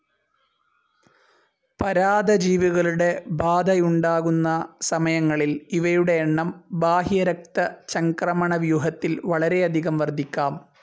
പരാദജീവികളുടെ ബാധയുണ്ടാകുന്ന സമയങ്ങളിൽ ഇവയുടെ എണ്ണം ബാഹ്യരക്തചംക്രമണ വ്യൂഹത്തിൽ വളരെയധികം വർദ്ധിക്കാം.